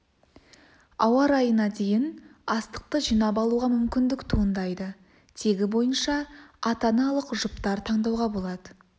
ауа райына дейін астықты жинап алуға мүмкіндік туындайды тегі бойынша ата-аналық жұптар таңдауға болады